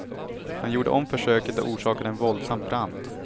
Han gjorde om försöket och orsakade en våldsam brand.